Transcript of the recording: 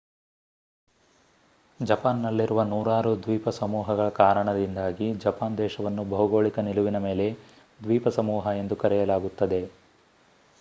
ಜಪಾನ್‌ನಲ್ಲಿರುವ ನೂರಾರು ದ್ವೀಪ ಸಮೂಹಗಳ ಕಾರಣದಿಂದಾಗಿ ಜಪಾನ್ ದೇಶವನ್ನು ಭೌಗೋಳಿಕ ನಿಲುವಿನ ಮೇಲೆ ದ್ವೀಪಸಮೂಹ ಎಂದು ಕರೆಯಲಾಗುತ್ತದೆ